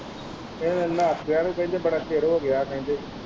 ਉਹ ਨਹਾਤਿਆਂ ਨੂੰ ਕਹਿੰਦੇ ਬੜਾ ਚਿਰ ਹੋ ਗਿਆ ਕਹਿੰਦੇ।